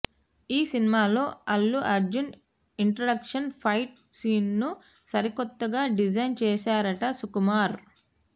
ఈ సినిమాలో Allu Arjun introduction fight సీన్ను సరికొత్తగా డిజైన్ చేశారట సుకుమార్